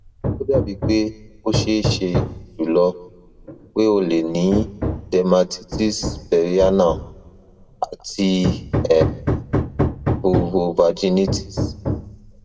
o dabi pe o ṣee ṣe julọ pe o le ni dermatitis perianal ati um vulvovaginitis